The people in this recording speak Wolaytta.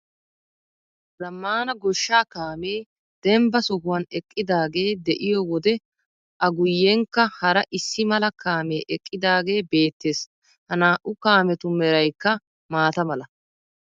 Zammaana goshshaa kaamee dembba sohuwan eqqidaagee de'iyo wode A guyyenkka hara issimala kaamee eqqidaagee beettees. Ha naa"u kaametu meraykka maata mala.